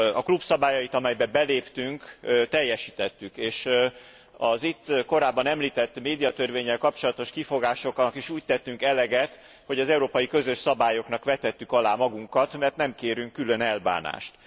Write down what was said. A klub szabályait, amelybe beléptünk, teljesítettük, és az itt korábban említett médiatörvénnyel kapcsolatos kifogásoknak is úgy tettünk eleget, hogy az európai közös szabályoknak vetettük alá magunkat, mert nem kérünk külön elbánást.